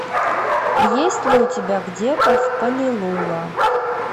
есть ли у тебя где то в палилула